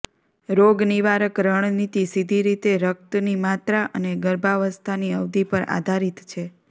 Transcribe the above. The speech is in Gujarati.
રોગનિવારક રણનીતિ સીધી રીતે રક્તની માત્રા અને ગર્ભાવસ્થાની અવધિ પર આધારિત છે